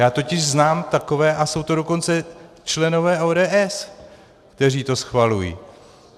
Já totiž znám takové, a jsou to dokonce členové ODS, kteří to schvalují.